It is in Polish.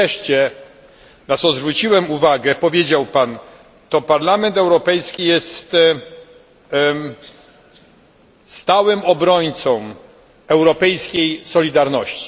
Wreszcie, na co zwróciłem uwagę, powiedział Pan To Parlament Europejski jest stałym obrońcą europejskiej solidarności.